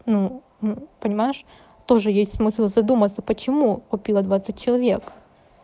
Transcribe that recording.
ну ну понимаешь тоже есть смысл задуматься почему купила двадцать человек